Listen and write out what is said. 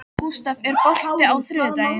Gústaf, er bolti á þriðjudaginn?